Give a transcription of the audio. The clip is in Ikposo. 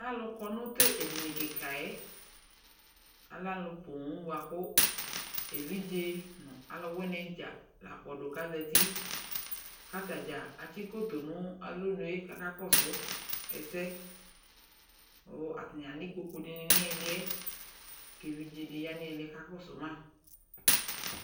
Alʊ kɔ nʊ tʊ edɩnɩ kikayɛ alɛ alʊ poo bʊakʊ evidze alʊwɩnɩ dza lakpɔdʊ kʊ azetɩ kʊ atadza atsɩ koto nʊ alɔnue kʊ aka kɔsʊ ɛsɛ kʊ atanɩ alɛ ɩkpokʊ dɩnɩ nʊ ɩlɩɛ kʊ evidzedɩ yanʊ ɩlɩɛ ka kɔsʊ ma